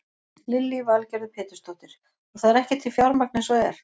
Lillý Valgerður Pétursdóttir: Og það er ekki til fjármagn eins og er?